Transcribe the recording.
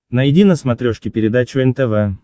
найди на смотрешке передачу нтв